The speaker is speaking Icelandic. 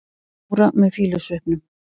Dóra með fýlusvipnum.